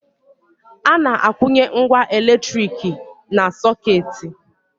A na-akwụnye ngwá elektrik na sọkeeti.